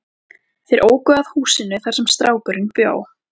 Þeir óku að húsinu þar sem strákurinn bjó.